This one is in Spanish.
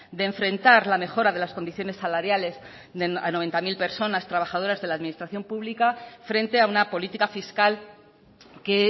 de enfrentar la mejora de las condiciones salariales a noventa mil personas trabajadoras de la administración pública frente a una política fiscal que